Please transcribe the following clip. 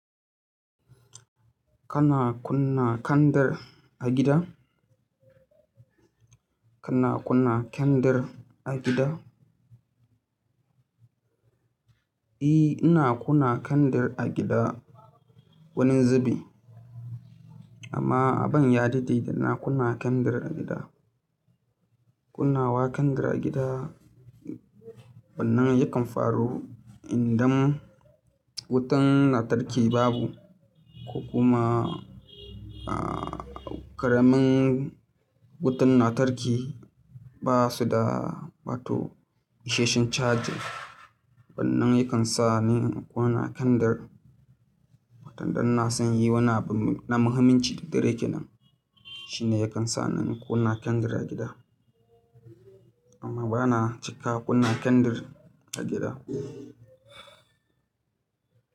Kana kunna kandir a gida? Kana kunna kyandir a gida? Eh, ina kunna kandir a gida wani zubi. Amma ban ya dade ina kunna kyandar a gida. Kunnawa kandar a gida, wan nan yakan faru idan wutan lantarki babu ko kuma ƙaramin wutan lantarki ba su da, wato ishasshen chargin wannan yakan sa ni in ƙuna kyandar watan dan na son yi wani abu na muhimmanci da direki nan. Shi ne yakan sa ni in ƙunna kyandar a gida. Amma bana cika ƙuna kyandir a gida.